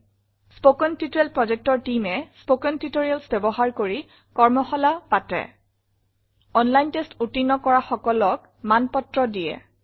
spoken tutorial project Teamএ spoken tutorials ব্যৱহাৰ কৰি কৰ্মশলা পাতে অনলাইন টেষ্ট উত্তীৰ্ণ কৰাসকলক মানপত্ৰ দিয়ে